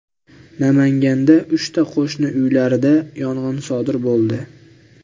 Namanganda uchta qo‘shni uylarda yong‘in sodir bo‘ldi.